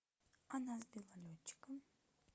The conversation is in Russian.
она сбила летчика